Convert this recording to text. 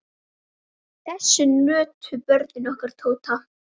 Þess nutu börnin okkar Tótu.